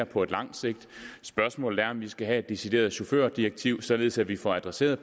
på langt sigt spørgsmålet er også om vi skal have et decideret chaufførdirektiv således at vi får adresseret